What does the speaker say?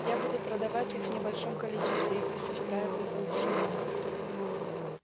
я буду продавать их в небольшом количестве и пусть устраивают аукцион